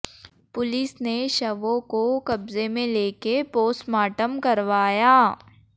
police ने शवों को कब्जे में लेक पोस्मार्टम करवाया